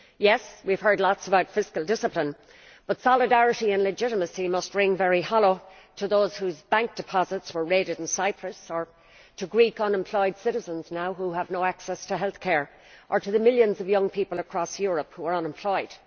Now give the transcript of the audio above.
Yes, we have heard lots about fiscal discipline, but solidarity and legitimacy must ring very hollow to those whose bank deposits were raided in Cyprus, or to Greek unemployed citizens now who have no access to healthcare, or to the millions of young people across Europe who are unemployed.